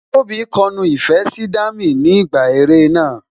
Tóbi kọ nu ìfẹ́ sí Dami ni ìgbà eré náà